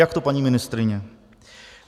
Jak to, paní ministryně?